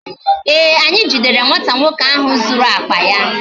Ee, anyị jidere nwata nwoke ahụ zuru akpa ya